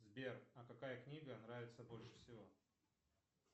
сбер а какая книга нравится больше всего